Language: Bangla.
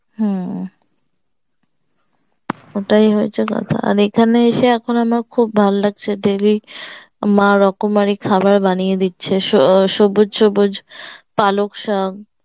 হম ওটাই হয়েছে কথা এখানে এসে আমার খুব ভালো লাগছে daily মা রকমারি খাবার বানিয়ে দিচ্ছে সব সবুজ সবুজ পালক শাক